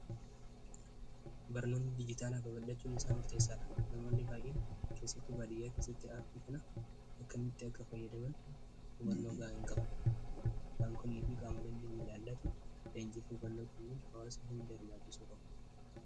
barnoonni bijitaalaa fa ba'achuun isaa murteessaa dha namoonni baa'iin keessatu baadiyyaa keessatti aarpii kana akka mitti akka fayyadaban ubannoo ga'a hin qaban baankonnii fi qaamalanin milaallatu leenjii fi balloo kul'uun hawaasa hin deermaachisura'u